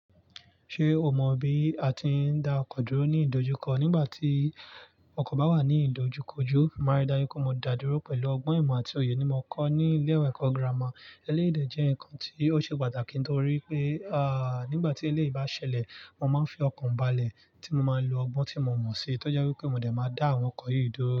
Ṣé o mọ bí a ti ń da ọkọ̀ dúró ní ìdojúkọ nígbà tí ọkọ̀ bá wà ní ìdojúkojú? Màrí daju kó mo dàdúró pẹ̀lú ọgbọ́n ìmọ̀ àti òye ní mo kọ́ ní ilé-ẹ̀kọ́ gírámà. Eléyi de jẹ́ nǹkan tí ó ṣe pàtàkì nítorí pé, à nígbà tí eléèyì bá ṣẹlẹ̀, mo máa ń fi ọkọ̀ ń balẹ̀ tí mo máa ń lo ọgbọ́n tí mo mọ̀ sí. Tọ́je wípé mo dẹ̀ máa dá àwọn ọkọ̀ yìí dúró.